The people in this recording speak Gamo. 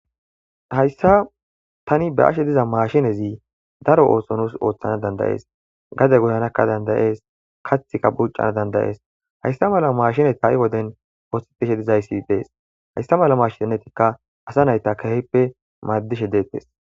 Hayssa tani be'ashe diza maashinezi daro ooso nuus oothanas dandda'ees gade goyanakka dandda'es; kaththika buuccana dandda'es; hayssa mala maashines ha'i woden oothishe dizayssi dees hayssa mala maashineyka asa na'a keehippe maadishe dees.